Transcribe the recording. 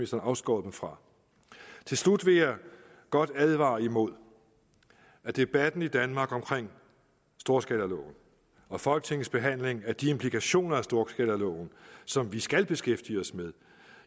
så afskåret dem fra til slut vil jeg godt advare imod at debatten i danmark om storskalaloven og folketingets behandling af de implikationer af storskalaloven som vi skal beskæftige os med